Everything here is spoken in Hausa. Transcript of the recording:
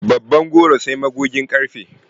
Babban goro sai magugin ƙarfe.